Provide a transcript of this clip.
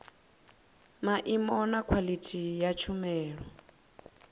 maimo na khwaḽithi ya tshumelo